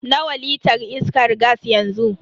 Nawa litar iskan gas yanzu?